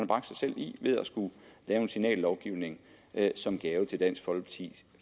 bragt sig selv i ved at skulle lave en signallovgivning som gave til dansk folkeparti